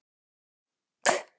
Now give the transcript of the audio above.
Eyrún, hvernig er veðrið úti?